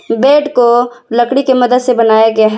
Bed को लकड़ी की मदद से बनाया गया है।